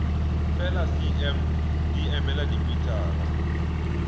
fela cm di emela dimetara